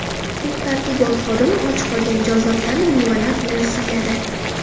Huquq-tartibot xodimi och qolgan jonzotlarni mevalar bilan siyladi.